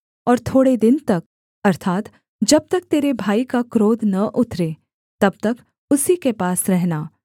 और थोड़े दिन तक अर्थात् जब तक तेरे भाई का क्रोध न उतरे तब तक उसी के पास रहना